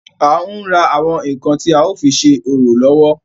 À ń ra àwọn ǹkan tí a ó fi ṣe orò lọ́wọ́.